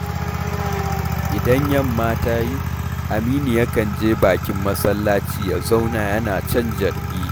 Idan yamma ta yi Aminu yakan je bakin masallaci ya zauna yana jan carbi